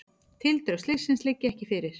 Tildrög slyssins liggja ekki fyrir.